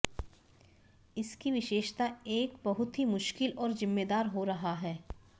इस की विशेषता एक बहुत ही मुश्किल और जिम्मेदार हो रहा है